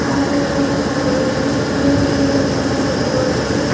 ಆ ಕಡೆ ಕೂಡ ಸೋಫಾ ಗಳು ಇವೆ ಬೇರೆ ಬೇರೆ ಡಿಸೈನ್ ನ ಸೋಫಾ ಗಳು ಇವೆ.